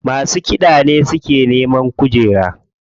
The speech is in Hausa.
Masu kiɗa ne suke neman kujera.